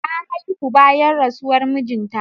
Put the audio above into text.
Ta haihu bayan rasuwar mijin ta